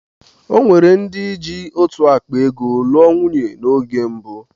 Ọnwere ndị jị otú ákpá ego'lụọ nwunye na oge mbụ.